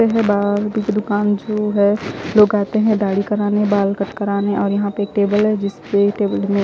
यहा पे है बाल कटिंग की दुकान जो है लोग आते है दाडी करने बाल कट कराने और यह एक टेबल है जिस में टेबल पे--